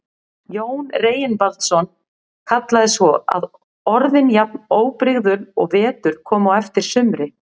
Jón Reginbaldsson kallaði svo, var orðin jafn óbrigðul og vetur kom á eftir sumri.